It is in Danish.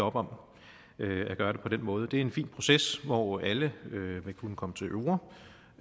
op om at gøre det på den måde det er en fin proces hvor alle vil kunne komme til orde